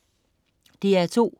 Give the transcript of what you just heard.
DR2: